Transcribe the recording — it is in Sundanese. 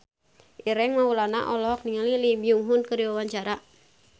Ireng Maulana olohok ningali Lee Byung Hun keur diwawancara